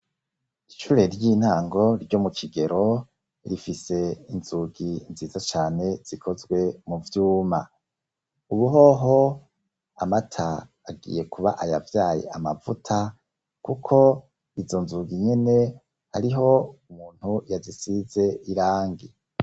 Ishure ry'intango ryo mu kigero rifise inzugi nziza cane zikozwe mu vyuma . Ubu hoho amata agiye kuba ayavyaye amavuta, kuko izo nzugi nyene hariho umuntu yazise irangi.